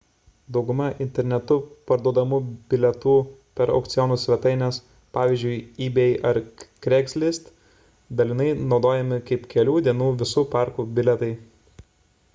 dauguma internetu parduodamų bilietų per aukcionų svetaines pavyzdžiui ebay ar craigslist dalinai naudojami kaip kelių dienų visų parkų bilietai